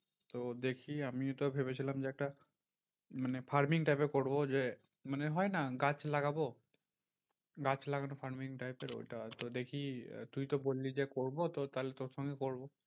তো দেখি আমি এটা ভেবেছিলাম যে, একটা মানে farming type এর করবো। যে মানে হয় না গাছ লাগাবো গাছ লাগানো farming type এর ওইটা। তো দেখি তুই তুই তো বললি যে, করবো তো তাহলে তোর সঙ্গেই করবো।